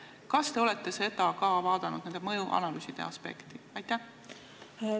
Kas te olete ka nende mõjuanalüüside aspekti vaadanud?